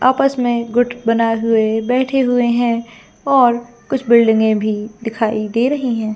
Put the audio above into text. आपस में गुठ बनाये हुए बैठे हुए है और कुछ बिल्डिंगे अभी दिखाई दे रही है।